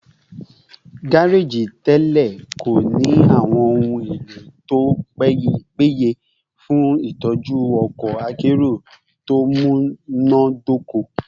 gareji tẹlẹ ko ni awọn ohun elo to peye fun itọju ọkọ akero to munadoko